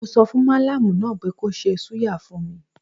Mo sọfùn mallam náà pé kó ṣe súyà fún mi.